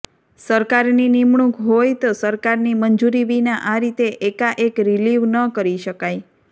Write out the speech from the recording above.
સરકારની નિમણૂક હોય તો સરકારની મંજૂરી વિના આ રીતે એકાએક રીલીવ ન કરી શકાય